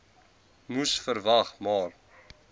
moes verwag maar